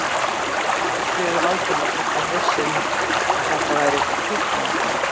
Hann þráspurði Valdimar hvort hann væri viss um að þetta væru fíkniefni.